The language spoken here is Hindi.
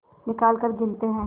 निकालकर गिनते हैं